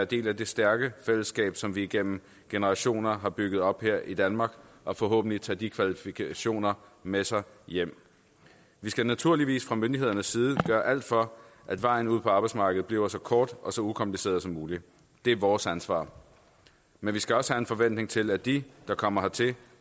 del af det stærke fællesskab som vi igennem generationer har bygget op her i danmark og forhåbentlig tage de kvalifikationer med sig hjem vi skal naturligvis fra myndighedernes side gøre alt for at vejen ud på arbejdsmarkedet bliver så kort og så ukompliceret som muligt det er vores ansvar men vi skal også have en forventning til at de der kommer hertil